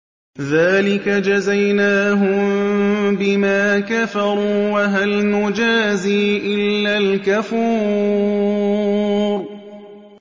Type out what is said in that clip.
ذَٰلِكَ جَزَيْنَاهُم بِمَا كَفَرُوا ۖ وَهَلْ نُجَازِي إِلَّا الْكَفُورَ